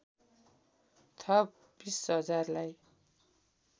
थप २० हजारलाई